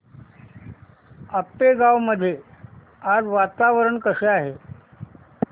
आपेगाव मध्ये आज वातावरण कसे आहे